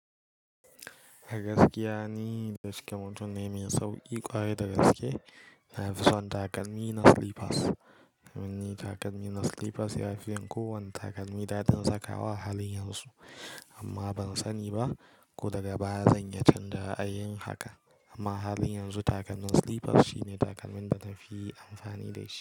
A gaskiya ni da shike mutum ne mai sauƙi ƙwari da gaske. Nafi son takalmi na slippers. Domin ni takalmi na slippers ya fi yin kowane takalmi da zan sakawa halin yanzu amma ban sani ba ko daga baya zan iya canza ra'ayin haka. Amma halin yanzu takalmin slippers shine takalmin da na fi amfani da shi.